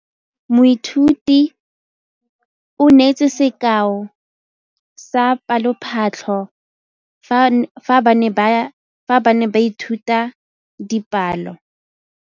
Moithuti o neetse sekaô sa palophatlo fa ba ne ba ithuta dipalo.